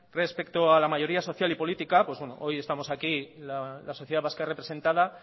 respecto a la mayoría social y política hoy estamos aquí la sociedad vasca representada